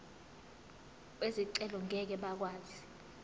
bezicelo ngeke bakwazi